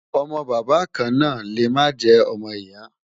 ọ̀mò bàbá kàn nà lè má jè ọmọ ìyà